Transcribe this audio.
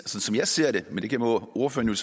som jeg ser det men det må ordføreren